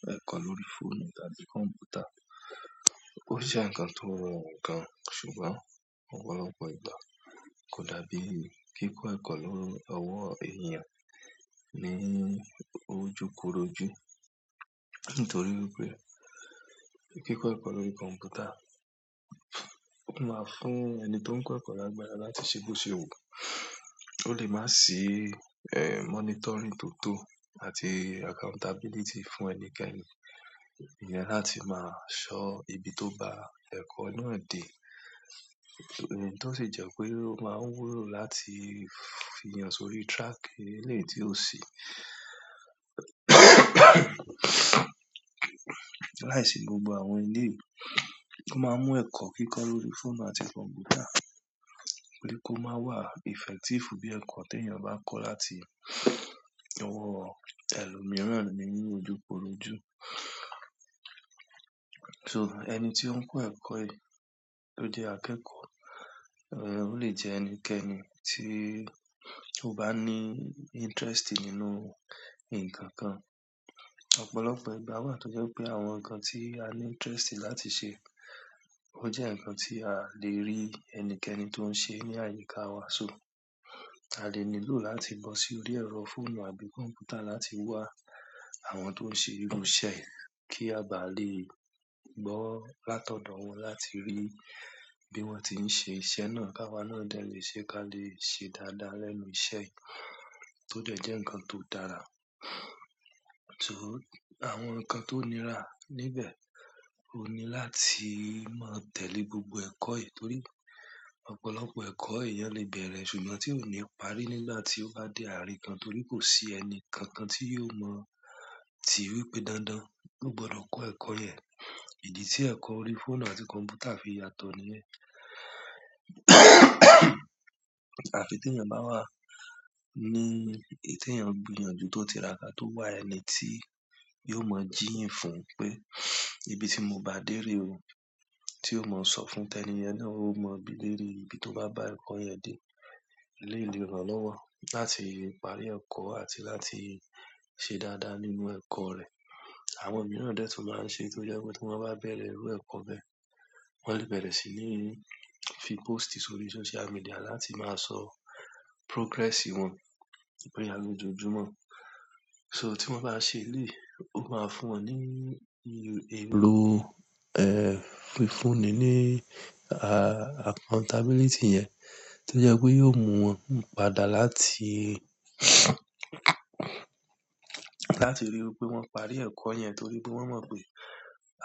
Kíkọ ẹ̀kọ lórí fóònù tàbí kọ̀npútà o jẹ́ ǹkan tó rọrùn gan, ṣùgbọ́n ọ̀pọ̀lọpọ̀ ìgbà kò dàbí èyí. Kíkọ ẹ̀kọ lórí ọwọ́ ènìyàn ni ójukorojù nítorí pé kíkọ ẹ̀kọ lórí kọ̀npútà máa fún ẹni tó ń kọ́ ẹ̀kọ́ náà lágbára láti ṣe bósèwuu. Ó lè máa sì, eh, monitoring tó tó àti accountability fún ẹnikẹ́ni. Iyen láti ma so ibi to gba eko náà de èyí to si je pe o maa n wúlò láti fi eeyan sórí track ti o si láìsí gbogbo àwọn eléyìí. O máa mú ẹ̀kọ́ kíkọ́ lórí fóònù àti kọ̀npútà pé kó máa wà effective bí ẹ̀kọ́ tí ènìyàn bá ń kọ́ láti ọwọ́ ẹlòmíràn ni ójukorojù. So, ẹni tí ó ń kọ́ ẹ̀kọ́ yìí tó jẹ́ akẹ́kọ̀ọ́, eh, ó lè jẹ ẹni kẹ́ẹ́ni tí ó bá ní interest nínú ǹkan kan. Ọ̀pọ̀lọpọ̀ ìgbà wà tó jẹ́ pé àwọn ǹkan tí a ní interest láti ṣe ó jẹ́ ǹkan tí a lè rí ẹni kẹ́ẹ́ni tó ń ṣe ní àyíká wa. So, a lè nílò láti bọ́ sórí ẹ̀rọ fóònù àbí kọ̀npútà láti wá àwọn tó ń ṣe irú iṣẹ́ kí a bà lè gbọ́ látọ̀dọ̀ wọn láti rí bí wọ́n ti ń ṣe iṣẹ́ náà ká wa náà dẹ̀ lè ṣe ká lè ṣe dáadáa lẹ́nu iṣẹ́ tó dẹ̀ jẹ́ ǹkan tó dára. So, àwọn ǹkan tó nira níbẹ̀ òun ní láti máa tẹ̀lé gbogbo ẹ̀kọ́ yìí torí ọ̀pọ̀lọpọ̀ ẹ̀kọ́ èryàn lè bẹ̀rẹ̀ ṣùgbọ́n tí ò ní parí nígbà tí ó bá dé àárín kan torí kò sí ẹni kankan tí yóò mọ̀ tíi wípé dándán. Ó gbọdọ̀ kọ́ ẹ̀kọ́ yẹn. Idi ti eko orí fóònù àti konputa se yàtọ̀ niyen àfi tí ènìyàn bá wà ní èyí tí ènìyàn gbìyànjú tó ti raka tó wà ẹni tí yóò mọ jíyìn fún un pé ìbí tí mo bá dé re o, tí ó mọ̀ sọ fún tẹni yen náà ó mọ bíi lere ibi tó bá bá ẹ̀kọ́ yẹn dé. Eléyìí lè ràn lọ́wọ́ láti parí ẹ̀kọ́ àti láti ṣe dáadáa nínú ẹ̀kọ́ rẹ̀. Àwọn mìíràn náà de maa n se to je wípé ti won ba bere iru eko be won le bere si ni fi post sórí social media láti ma so progress si won boya lojoojumo so tí wọ́n bá ṣe eléyìí ó máa fún wọn ní ìrò, eh, fúnni ní, ah, accountability yẹn tó jẹ́ pé yóò mú wọn padà láti, láti ríi wípé wọ́n parí e ẹ̀kọ́ yẹn torí pé wọ́n mọ̀ pé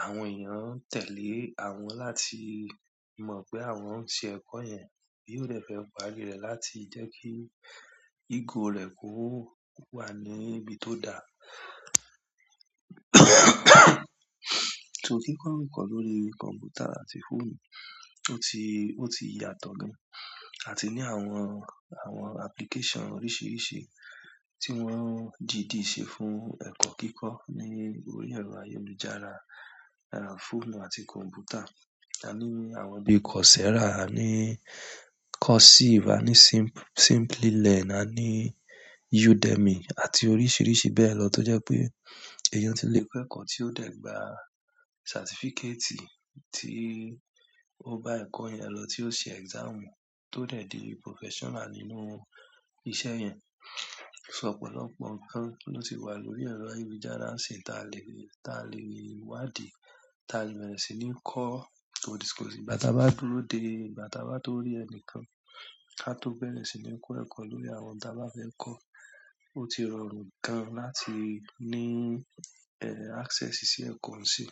àwọn ènìyàn ń tẹ̀lé àwọn láti mọ̀ pé àwọn ń ṣe ẹ̀kọ́ yẹn bí ó dẹ̀ fẹ́ parí rẹ̀ láti jẹ́ kí egò rẹ̀ kó wà ní ibi tó dá. So kíkọ ẹ̀kọ́ lórí kọ̀npútà àti fóònù ó ti, ó ti yàtọ̀ gan àti ní àwọn, àwọn application oríṣiríṣi tí wọ́n dìdí ṣe fún ẹ̀kọ́ kíkọ́ ní orí ẹ̀rọ ayélujára, eh, fóònù àti kọ̀npútà. A ní àwọn bí i Coursera, a ní Courseive, a ní SimplyLearn, a ní Udemy àti oríṣiríṣi bẹ́ẹ̀ lọ tó jẹ́ pé èeyàn ti lè kọ́ ẹ̀kọ́ tí ó dẹ̀ gbà certificate tí ó bá ẹ̀kọ́ yẹn lọ tí ó ṣe exam tó dẹ̀ di professional nínú iṣẹ́ yẹn. So ọ̀pọ̀lọpọ̀ ǹkan ló ti wà lórí ẹ̀rọ ayélujára sin, tí a lè rí, tí a lè rí wádìí, tí a lè bẹ̀rẹ̀ sí ní kọ́. O ti, ko digbà tí a bá dúró dé, bà tí a bá tó rí ẹni kan, ká tó bẹ̀rẹ̀ sí ní kọ́ ẹ̀kọ́ lórí àwọn táa bá fẹ́ kọ́. Ó ti rọrùn gan láti ní, eh, access sí ẹ̀kọ́ sí.